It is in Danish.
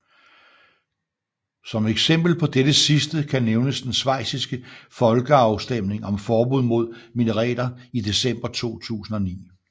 Som eksempel på dette sidste kan nævnes den schweiziske folkeafstemning om forbud mod minareter i december 2009